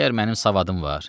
Məgər mənim savadım var?